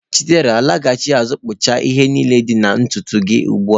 Chidera, laghachi azụ kpuchapụ ihe niile dị na ntutu gị ugbu a.